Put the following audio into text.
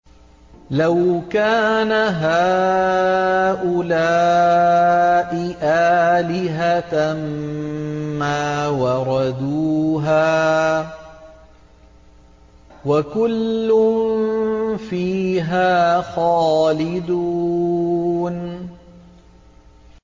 لَوْ كَانَ هَٰؤُلَاءِ آلِهَةً مَّا وَرَدُوهَا ۖ وَكُلٌّ فِيهَا خَالِدُونَ